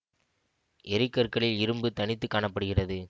எரிகற்களில் இரும்பு தனித்து காண படுகிறது